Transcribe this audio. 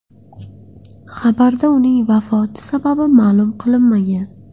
Xabarda uning vafoti sababi ma’lum qilinmagan.